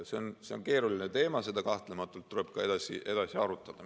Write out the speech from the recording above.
See on keeruline teema, seda tuleb kahtlematult edasi arutada.